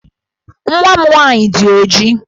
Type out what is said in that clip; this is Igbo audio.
Nwa m nwaanyị dị ojii.